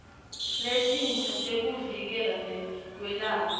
letinsha tekuvikela nekwelapha